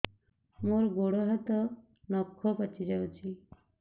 ମୋର ଗୋଡ଼ ହାତ ନଖ ପାଚି ଯାଉଛି